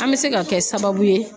An bɛ se ka kɛ sababu ye